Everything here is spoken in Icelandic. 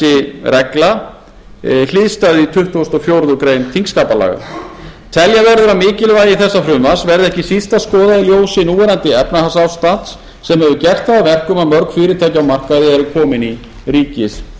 þessi regla sér hliðstæðu í tuttugasta og fjórðu greinar þingskapalaga telja verður að mikilvægi þessa frumvarps verði ekki síst að skoða í ljósi núverandi efnahagsástands sem gert hefur að verkum að mörg fyrirtæki á markaði eru komin í ríkiseigu